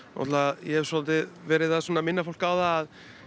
ég hef svolítið verið að minna fólk á það